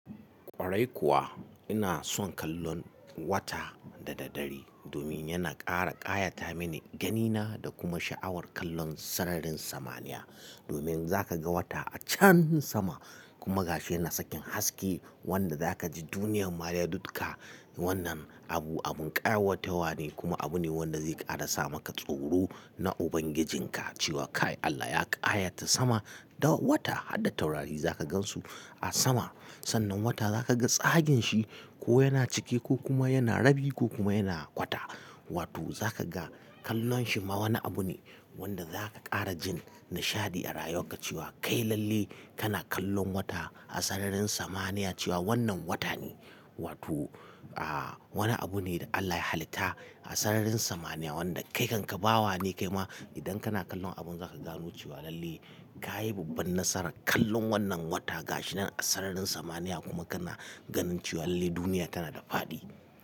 Kwarai kuwa ina son kallon wata da daddare domin yana ƙara ƙayata mini ganina da kuma sha'awar kallon sararin samaniya. Domin za ka ga wata a can sama kuma gashina sakin haske wanda za ka ji duniyan ma dukka. Wannan abu abun ƙayatawa ne kuma abu ne wanda zai ƙara sa maka tsoro na Ubangijinka cewa kai Allah ya ƙayata sama da wata har da taurari za ka gansu a sama. Sannan wata za ka ga tsagin shi ko yana cike ko kuma yana rabi ko kuma yana kwata. Wato za ka ga kallon shi ma wani abu ne wanda za ka ƙara jin nishadi a rayuarka cewa kai lalle kana kallon wata a sararin samaniya cewa wannan wata ne. Wato, ah wani abu ne da Allah ya halitta a sararin samaniya wanda kai kanka bawa ne kai ma idan kana kallon abun za ka gano cewa lalle ka yi babban nasara kallon wannan wata gashinan a sararin samaniya kuma kana ganin cewa lalle duniya tana da faɗi.